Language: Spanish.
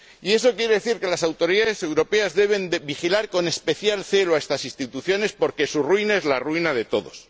Eso quiere decir que las autoridades europeas deben vigilar con especial celo estas instituciones porque su ruina es la ruina de todos.